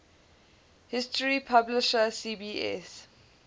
history publisher cbs